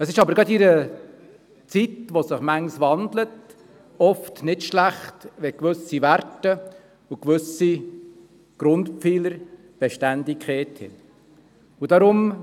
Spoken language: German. Aber es ist in einer Zeit mit vielen Wandlungen oft nicht schlecht, wenn gewisse Werte und Grundpfeiler Beständigkeit haben.